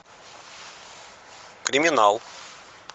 криминал